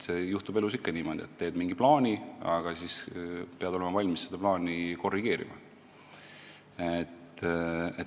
Elus juhtub ikka niimoodi, et teed mingi plaani, aga siis pead olema valmis seda korrigeerima.